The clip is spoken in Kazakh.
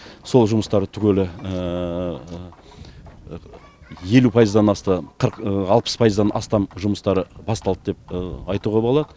сол жұмыстар түгелі елу пайыздан асты қырық алпыс пайыздан астам жұмыстары басталды деп айтуға болады